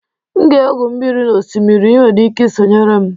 M ga-egwu mmiri n'osimiri, ị nwere ike sonyere m